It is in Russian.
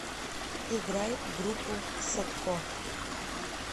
играй группу садко